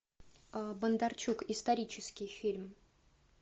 бондарчук исторический фильм